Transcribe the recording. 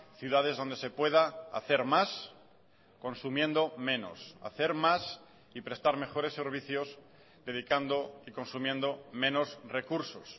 ciudades donde se pueda hacer más consumiendo menos hacer más y prestar mejores servicios dedicando y consumiendo menos recursos